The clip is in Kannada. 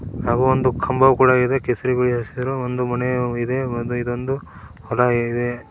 ಅವೊಂದು ಕಂಬವೂ ಕೂಡ ಇದೆ ಕೇಸರಿ ಬಿಳಿ ಹಸಿರು ಒಂದು ಮನೆಯೂ ಇದೆ ಒಂದು ಇದೊಂದು ಹೊಲ ಇದೆ.